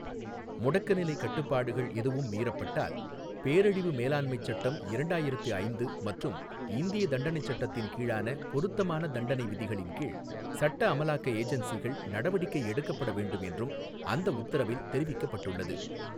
முடக்கநிலை கட்டுப்பாடுகள் எதுவும் மீறப்பட்டால், பேரழிவு மேலாண்மைச் சட்டம் இரண்டாயிரத்து ஐந்து மற்றும் இந்திய தண்டனைச் சட்டத்தின் கீழான பொருத்தமான தண்டனை விதிகளின் கீழ், சட்ட அமலாக்க ஏஜென்சிகள் நடவடிக்கை எடுக்கப்பட வேண்டும் என்றும் அந்த உத்தரவில் தெரிவிக்கப் பட்டுள்ளது.